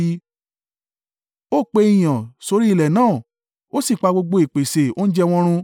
Ó pe ìyàn sórí ilẹ̀ náà ó sì pa gbogbo ìpèsè oúnjẹ wọn run;